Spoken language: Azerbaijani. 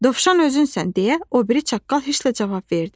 Dovşan özünsən deyə o biri çaqqal heç nə cavab verdi.